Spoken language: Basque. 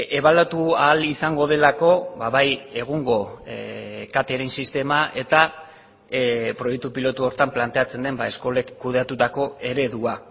ebaluatu ahal izango delako bai egungo catering sistema eta proiektu pilotu horretan planteatzen den eskolek kudeatutako eredua